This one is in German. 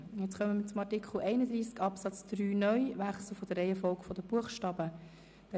Nun stimmen wir über den Wechsel der Reihenfolge der Buchstaben ab.